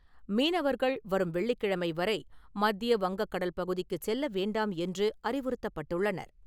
மீனவர்கள் வரும் வெள்ளிக்கிழமை வரை மத்திய வங்கக் கடல் பகுதிக்கு செல்ல வேண்டாம் என்று அறிவுறுத்தப்பட்டுள்ளனர்.